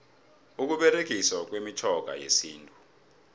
ukuberegiswa kwemitjhoga yesintu